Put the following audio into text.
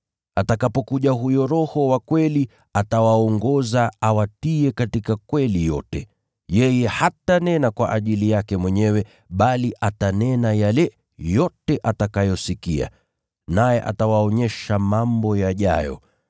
Atakapokuja huyo Roho wa kweli atawaongoza awatie katika kweli yote. Yeye hatanena kwa ajili yake mwenyewe, bali atanena yale yote atakayosikia, naye atawaonyesha mambo yajayo.